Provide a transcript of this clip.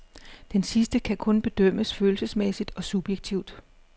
Denne sidste kan kun bedømmes følelsesmæssigt og subjektivt.